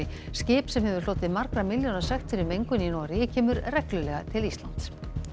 skip sem hefur hlotið margra milljóna sekt fyrir mengun í Noregi kemur reglulega til Íslands